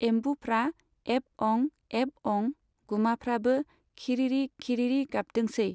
एमबुफ्रा एब अं, एब अं, गुमाफ्राबो खिरिरि, खिरिरि गाबदोंसै।